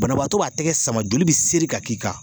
Banabaatɔ b'a tɛgɛ sama joli bi seri ka k'i kan!